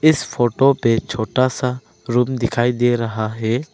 इस फोटो पे एक छोटा सा रूम दिखाई दे रहा है।